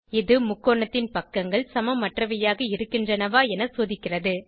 இது முக்கோணத்தின் பக்கங்கள் சமமற்றவையாக இருக்கின்றனவா என சோதிக்கிறது